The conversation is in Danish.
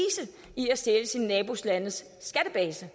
i at stjæle sine nabolandes skattebase